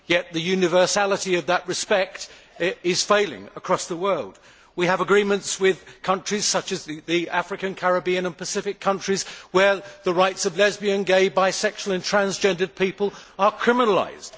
Yet the universality of that respect is failing across the world. We have agreements with countries such as the African, Caribbean and Pacific countries where the rights of lesbian, gay, bisexual and transgender people are criminalised.